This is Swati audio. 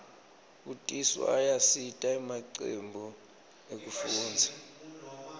kutiswa ayasita emacembu ekufundza